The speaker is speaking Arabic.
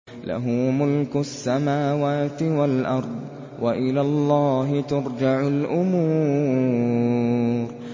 لَّهُ مُلْكُ السَّمَاوَاتِ وَالْأَرْضِ ۚ وَإِلَى اللَّهِ تُرْجَعُ الْأُمُورُ